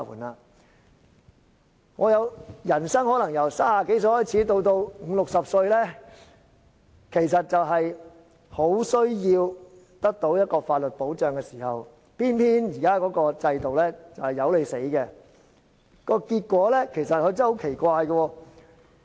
在我們人生中，由30多歲至五六十歲的時間，可能是很需要得到法律保障的，但現在的制度卻偏偏不理我們死活。